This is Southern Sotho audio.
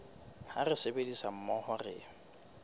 ha re sebetsa mmoho re